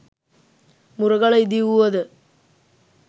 මුරගල ඉදිවූවද